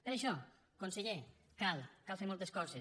per això conseller cal fer moltes coses